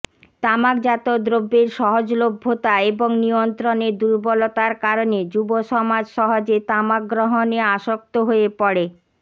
তামাকজাত দ্রব্যের সহজলভ্যতা এবং নিয়ন্ত্রণের দুর্বলতার কারণে যুব সমাজ সহজে তামাক গ্রহণে আসক্ত হয়ে পড়ে